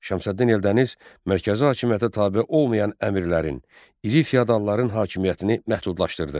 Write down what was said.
Şəmsəddin Eldəniz mərkəzi hakimiyyətə tabe olmayan əmirlərin, iri feodalların hakimiyyətini məhdudlaşdırdı.